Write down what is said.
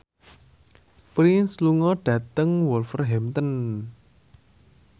Prince lunga dhateng Wolverhampton